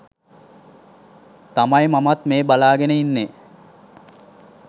තමයි මමත් මේ බලාගෙන ඉන්නේ.